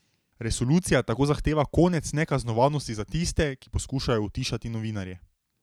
Resolucija tako zahteva konec nekaznovanosti za tiste, ki poskušajo utišati novinarje.